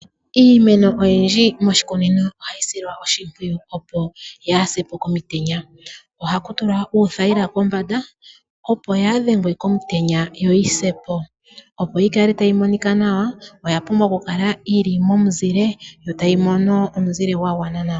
Iimeno oyindji moshikunino ohayi silwa oshimpwiyu opo yaa se po komitenya. Oha ku tulwa uuthayila kombanda opo yaa dhengwe komutenya yo yi se po. Opo yi kale tayi monika nawa, oya pumbwa okukala yi li momuzile opo yaamone oonga dhetango odhindji.